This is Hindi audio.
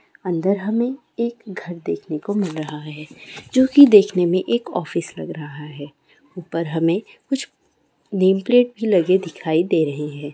अदर हमें एक घर देखने को मिल रहा है जो की देखने में एक ऑफिस लग रहा है उपर हमें कुछ नेम प्लेट भी लगे दिखाई दे रहे है।